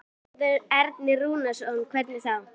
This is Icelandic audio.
Sigmundur Ernir Rúnarsson: Hvernig þá?